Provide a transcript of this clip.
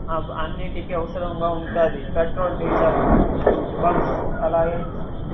ఆ అన్నిటికి అవసరంగా ఉంటాది పెట్రోల్ డీజిల్ బంక్స్ అలాగే.